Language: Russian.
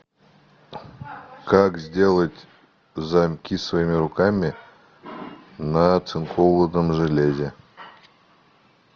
как сделать замки своими руками на оцинкованном железе